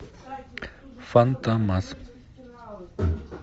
фантомас